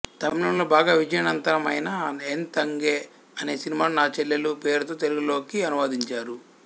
తమిళంలో బాగా విజయనంతమైన ఎన్ తంగై అనే సినిమాను నా చెల్లెలు పేరుతో తెలుగులోకి అనువదించారు